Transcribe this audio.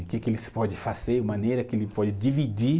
O que que eles pode fazer, a maneira que ele pode dividir.